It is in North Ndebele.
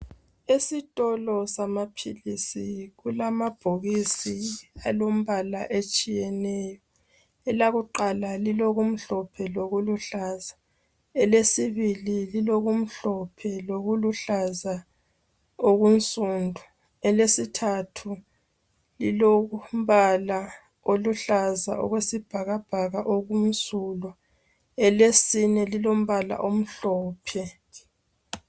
esitolo samaphilisi kulamabhokisi alombala etshiyeneyo alkuqala lilokumhlophe lokuluhlaza elesibili ilokumhlophe lokuluhlaza okunsundu elesithathu lilombala oluhlaza okwesibhakabhaka okumsulo elesine lilombala omhlophe